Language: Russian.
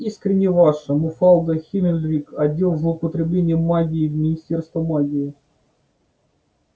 искренне ваша муфалда хмелкирк отдел злоупотребления магией министерство магии